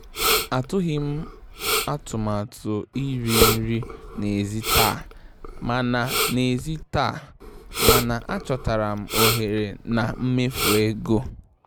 Atụghị m atụmatụ iri nri n'èzí taa, mana n'èzí taa, mana achọtara m ohere na mmefu ego.